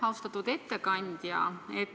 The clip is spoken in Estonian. Austatud ettekandja!